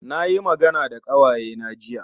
Na yi magana da ƙawayena jiya